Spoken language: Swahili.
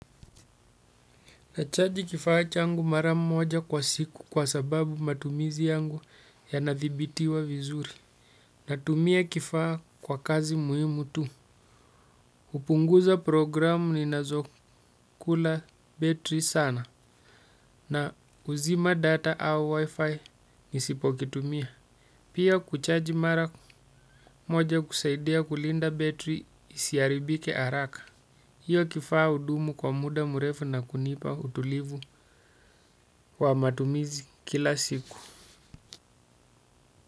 Nachaji kifaa changu mara moja kwa siku kwa sababu matumizi yangu yana dhibitiwa vizuri. Natumia kifaa kwa kazi muhimu tu. Hupunguza programu ninazokula betri sana na kuzima data au wifi nisipo kitumia. Pia kuchaji mara moja husaidia kulinda betri isiharibike haraka. Hiyo kifaa hudumu kwa muda mrefu na kunipa utulivu wa matumizi kila siku.